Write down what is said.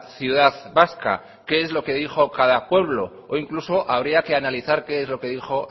ciudad vasca qué es lo que dijo cada pueblo e incluso habría que analizar qué es lo que dijo